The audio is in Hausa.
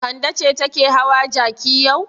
Kande ce take hawa jaki yau.